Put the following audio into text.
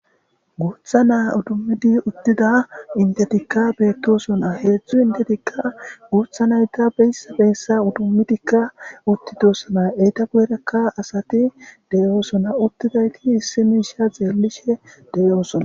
G.uutha naa utummidi uttida intetikka beettosona heedzdzu intetikka guutha nayta beysa beyssa udummidikka uttitosona eyta guyrekka asati deyoosona uttidayti issi miisha xeellishe deyoosona.